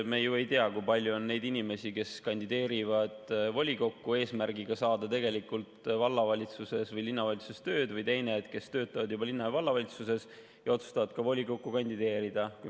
Me ju ei tea, kui palju on inimesi, kes kandideerivad volikokku eesmärgiga saada tegelikult vallavalitsuses või linnavalitsuses tööd, või neid, kes töötavad juba linna‑ või vallavalitsuses ja otsustavad volikokku kandideerida.